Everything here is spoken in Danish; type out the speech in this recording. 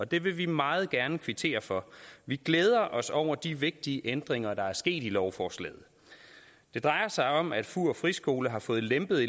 det vil vi meget gerne kvittere for vi glæder os over de vigtige ændringer der er sket i lovforslaget det drejer sig om at fur friskole har fået lempet